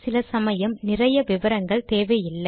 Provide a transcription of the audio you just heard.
சில சமயம் நிறைய விவரங்கள் தேவையில்லை